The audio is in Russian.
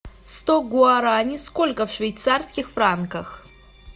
сто гуарани сколько в швейцарских франках